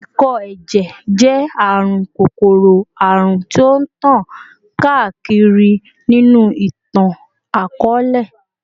Ikọ-ẹjẹ jẹ arun kokoro-arun ti o tan kaakiri ninu itan-akọọlẹ